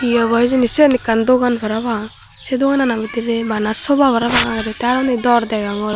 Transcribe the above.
ho obo hijeni siyen ekkan dogan parapang sei doganano bidirey bana sofa parapang agedey tey undi aro dor degongor.